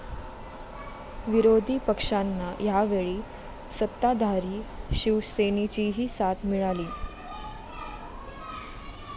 विरोधी पक्षांना यावेळी सत्ताधारी शिवसेनेचीही साथ मिळाली.